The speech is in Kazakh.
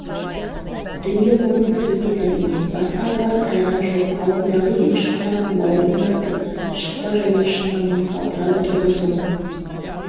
дүниеқоңыздық емес әрине басқа қылар қайраны жоқ алдындағы екі-үш қараның бауырын тартып шықпа жаным шықпамен қалтырап отырған соң